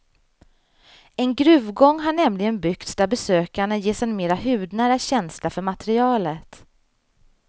En gruvgång har nämligen byggts där besökarna ges en mera hudnära känsla för materialet.